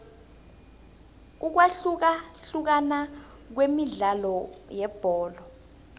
ukwahlukahlukana kwemidlalo yebholo